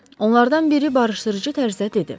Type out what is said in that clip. Onlardan biri barışdırıcı tərzdə dedi.